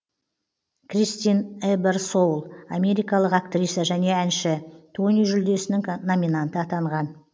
кристин эберсоул америкалық актриса және әнші тони жүлдесінің номинанты атанған